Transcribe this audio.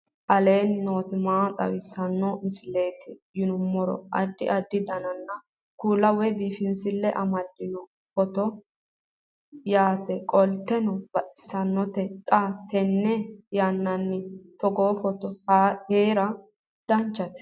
aleenni nooti maa xawisanno misileeti yinummoro addi addi dananna kuula woy biinsille amaddino footooti yaate qoltenno baxissannote xa tenne yannanni togoo footo haara danvchate